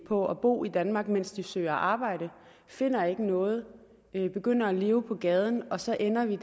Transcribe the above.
på at bo i danmark mens de søger arbejde finder ikke noget begynder at leve på gaden og så ender de